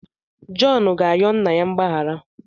Jọn ga-ayọ nna ya mgbaghara.